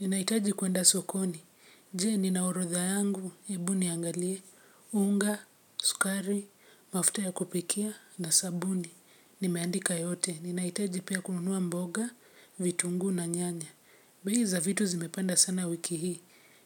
Ninahitaji kuenda sokoni. Je, nina orodha yangu, hebu niangalie, unga, sukari, mafuta ya kupikia, na sabuni. Nimeandika yote. Ninahitaji pia kununua mboga, vitunguu na nyanya. Bei za vitu zimepanda sana wiki hii.